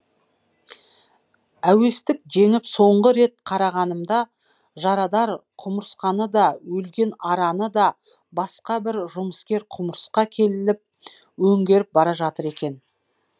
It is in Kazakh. әуестік жеңіп соңғы рет қарағанымда жарадар құмырсқаны да өлген араны да басқа бір жұмыскер құмырсқа келіп өңгеріп бара жатыр екен